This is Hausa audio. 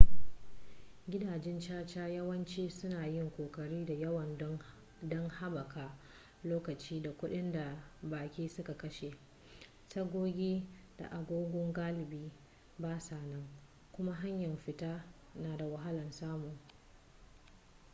gidajen caca yawanci suna yin ƙoƙari da yawa don haɓaka lokaci da kuɗin da baƙi suka kashe tagogi da agogo galibi basa nan kuma hanyar fita na da wahalar samu